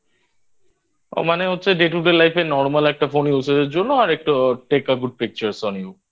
মানে হচ্ছে Day To Day Life এ Normal একটা Phone Usagelan:Eng জন্য আর একটা Take A Good Pictures On You